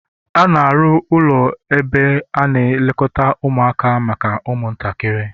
A na-arụ ụlọ ebe a na-elekọta ụmụaka maka ụmụntakịrị